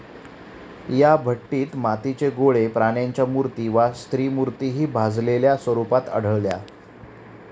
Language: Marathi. या भट्टीत मातीचे गोळे, प्राण्यांच्या मूर्ती वा स्त्रीमूर्तिहि भाजलेल्या स्वरुपात आढळल्या.